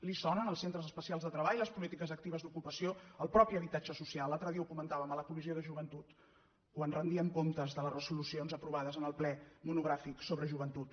li sonen els centres especials de treball les polítiques actives d’ocupació el mateix habitatge social l’altre dia ho comentàvem a la comissió de joventut quan rendíem comptes de les resolucions aprovades en el ple monogràfic sobre joventut